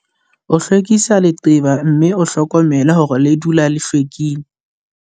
O hlwekise leqeba mme o hlokomele hore le dula le hlwekile.